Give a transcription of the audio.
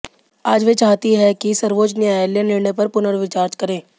आज वे चाहती हैं कि सर्वोच्च न्यायालय निर्णय पर पुनर्विचार करे